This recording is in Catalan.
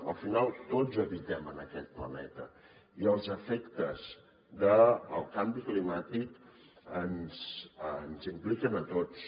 al final tots habitem en aquest planeta i els efectes del canvi climàtic ens impliquen a tots